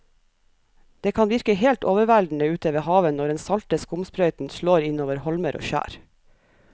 Det kan virke helt overveldende ute ved havet når den salte skumsprøyten slår innover holmer og skjær.